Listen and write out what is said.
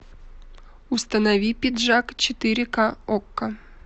установи пиджак четыре ка окко